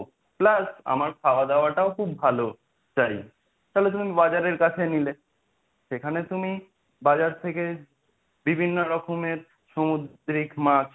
Plus আমার খাওয়া-দাওয়াটাও খুব ভালো চাই তাহলে তুমি বাজারের কাছে নিলে, সেখানে তুমি বাজার থেকে বিভিন্ন রকমের সমুদ্রিক মাছ